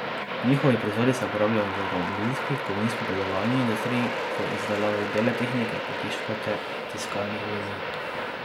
Njihovi proizvodi se uporabljajo v avtomobilski, kovinsko predelovalni industriji, v izdelavi bele tehnike, pohištva ter tiskanih vezij.